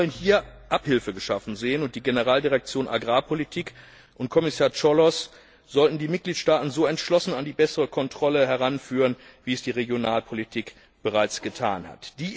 Nein, wir wollen hier Abhilfe geschaffen sehen, und die Generaldirektion Agrarpolitik und Kommissar Cioloş sollten die Mitgliedstaaten so entschlossen an die bessere Kontrolle heranführen, wie es die Regionalpolitik bereits getan hat.